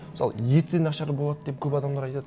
мысалы еті нашар болады деп көп адамдар айтады